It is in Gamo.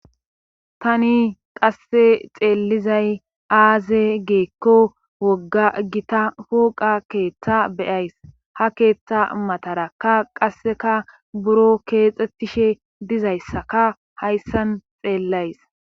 tani qasse xeellizay aaze geekko wogga gita hoqa keeththa beyays ha keeththa matarakka qasseka buro keexxettishe dizayssaka hayssan xeellays